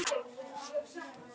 En stoppið er stutt.